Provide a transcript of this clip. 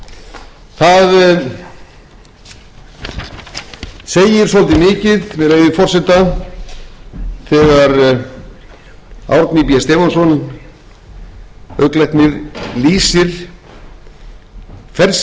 það segir svolítið mikið með leyfi forseta þegar árni b stefánsson augnlæknir lýsir ferð sinni niður í